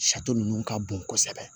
Sato ninnu ka bon kosɛbɛ